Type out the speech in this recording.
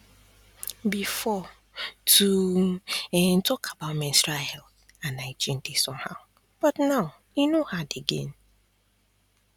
before to um talk about menstrual health and hygiene dey somehow but now e no hard again